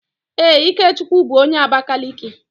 Ee, Ikechukwu bu onye Abakaliki